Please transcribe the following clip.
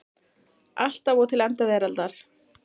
Alltaf og til enda veraldar.